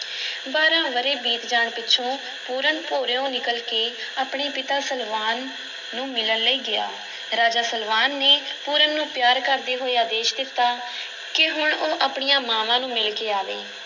ਬਾਰਾਂ ਵਰ੍ਹੇ ਬੀਤ ਜਾਣ ਪਿੱਛੋਂ ਪੂਰਨ ਭੋਰਿਉਂ ਨਿਕਲ ਕੇ ਆਪਣੇ ਪਿਤਾ ਸਲਵਾਨ ਨੂੰ ਮਿਲਨ ਲਈ ਗਿਆ, ਰਾਜਾ ਸਲਵਾਨ ਨੇ ਪੂਰਨ ਨੂੰ ਪਿਆਰ ਕਰਦੇ ਹੋਏ ਆਦੇਸ਼ ਦਿੱਤਾ ਕਿ ਹੁਣ ਉਹ ਆਪਣੀਆਂ ਮਾਂਵਾਂ ਨੂੰ ਮਿਲ ਕੇ ਆਵੇ।